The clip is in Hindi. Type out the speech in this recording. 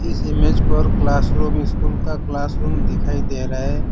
इस इमेज को और क्लासरूम स्कूल का क्लासरूम दिखाई दे रहा है।